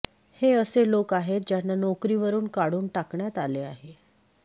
हे असे लोक आहेत ज्यांना नोकरीवरून काढून टाकण्यात आले आहे